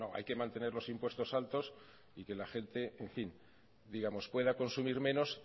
hay que mantener los impuestos altos y que la gente en fin digamos pueda consumir menos